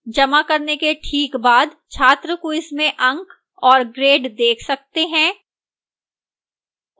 जमा करने के ठीक बाद छात्र quiz में अंक और grade देख सकते हैं